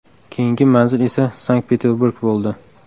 Keyingi manzil esa Sankt-Peterburg bo‘ldi.